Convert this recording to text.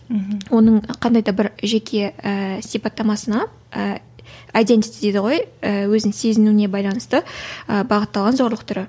мхм оның қандай да бір жеке ііі сипаттамасына ііі айдентис дейді ғой ііі өзінің сезінуіне байланысты ііі бағытталған зорлық түрі